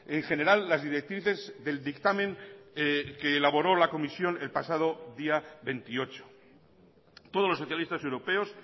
en general las directrices del dictamen que elaboró la comisión el pasado día veintiocho todos los socialistas europeos